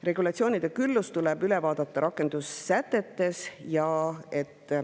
Regulatsioonide küllus tuleb üle vaadata ka rakendussätetes.